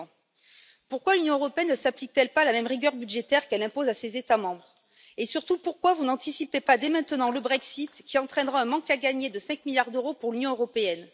2 Pourquoi l'Union européenne ne s'applique t elle pas la même rigueur budgétaire qu'elle impose à ses États membres et, surtout, pourquoi n'anticipez vous pas dès maintenant le Brexit, qui entraînera un manque à gagner de 5 milliards d'euros pour l'Union européenne?